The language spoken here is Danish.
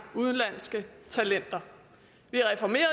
udenlandske talenter vi reformerede